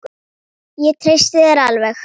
Ég treysti þér alveg!